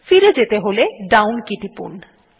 ফিরে যেতে হলে ডাউন কে টিপুন